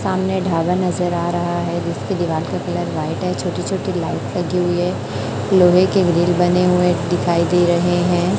सामने ढाबा नजर आ रहा है जिसकी दीवार का कलर व्हाईट है छोटी छोटी लाइट लगी हुई हैं लोहे के ग्रील बने हुए दिखाई दे रहे हैं।